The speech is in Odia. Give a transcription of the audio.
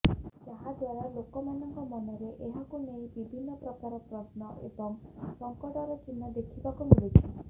ଯାହା ଦ୍ୱାରା ଲୋକଙ୍କ ମନରେ ଏହାକୁ ନେଇ ବିଭିନ୍ନ ପ୍ରକାର ପ୍ରଶ୍ନ ଏବଂ ସଂକଟର ଚିହ୍ନ ଦେଖିବାକୁ ମିଳୁଛି